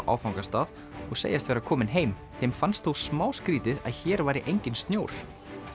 áfangastað og segjast vera komin heim þeim fannst þó smá skrítið að hér væri enginn snjór